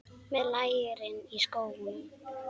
Með lærin í skónum.